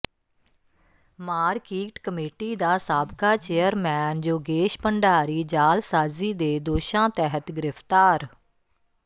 market committee ਦਾ ਸਾਬਕਾ chairman Yogesh Bhandari ਜਾਲਸਾਜ਼ੀ ਦੇ ਦੋਸ਼ਾਂ ਤਹਿਤ ਗਿ੍ਰਫ਼ਤਾਰ